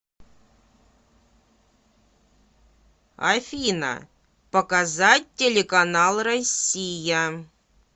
афина показать телеканал россия